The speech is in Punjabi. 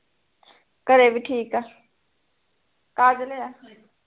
ਘਰੇ ਵੀ ਠੀਕ ਆ ਕਾਜਲ ਐ